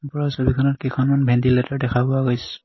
ওপৰৰ ছবিখনত কেইখনমান ভেণ্টিলেটৰ দেখা পোৱা গৈছে।